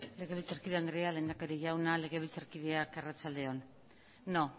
legebiltzarkide andrea lehendakari jauna legebiltzarkideak arratsalde on no